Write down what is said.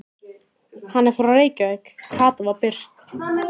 Hann er frá Reykjavík, Kata var byrst.